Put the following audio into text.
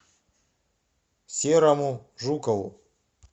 серому жукову